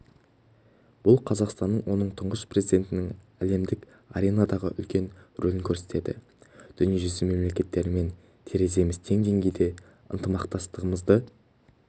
бұл қазақстанның оның тұңғыш президентінің әлемдік аренадағы үлкен рөлін көрсетеді дүниежүзі мемлекеттерімен тереземіз тең деңгейде ынтымақтастығымызды